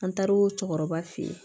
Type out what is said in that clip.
An taar'o cɛkɔrɔba fe ye